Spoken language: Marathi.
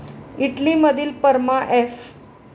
इटली मधील परमा एफ